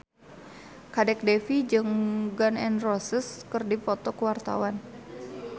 Kadek Devi jeung Gun N Roses keur dipoto ku wartawan